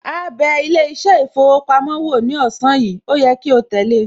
Áá bẹ ilé iṣẹ́ ìfowópamọ́ wo ní ọ̀sán yìí, ó yẹ kí o tẹ̀le